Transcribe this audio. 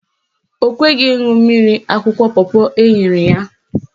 Ọ kweghị ịṅụ mmiri akwụkwọ pọpọ enyere ya.